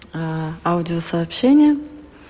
а аудиосообщения